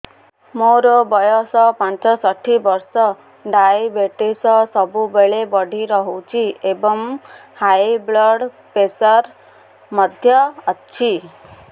ମୋର ବୟସ ପଞ୍ଚଷଠି ବର୍ଷ ଡାଏବେଟିସ ସବୁବେଳେ ବଢି ରହୁଛି ଏବଂ ହାଇ ବ୍ଲଡ଼ ପ୍ରେସର ମଧ୍ୟ ଅଛି